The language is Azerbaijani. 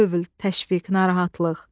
Hövl, təşviq, narahatlıq.